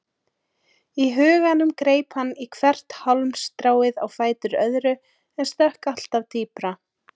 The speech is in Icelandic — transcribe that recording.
Í huganum greip hann í hvert hálmstráið á fætur öðru en sökk alltaf dýpra.